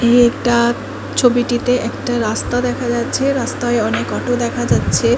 ছবিটিতে একটা রাস্তা দেখা যাচ্ছে রাস্তায় অনেক অটো দেখা যাচ্ছে ।